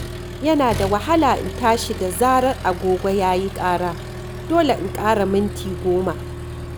Yana da wahala in tashi da zarar agogo ya yi ƙara, dole in ƙara minti goma.